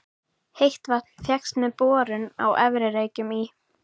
Heitt vatn fékkst með borun á Efri-Reykjum í